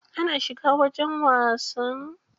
Ana shiga wajen wasan?